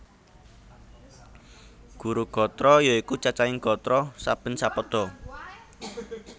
Guru gatra ya iku cacahing gatra saben sapada